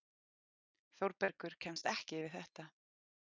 Þórbergur kemst ekki yfir þetta.